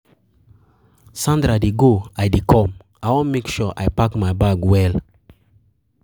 Sandra dey go I dey come, I wan make sure I pack my bag well.